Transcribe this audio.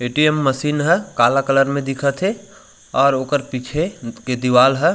ऐ T M machine है काला कलर में दिखत है और ओकर पीछे के दीवाल है।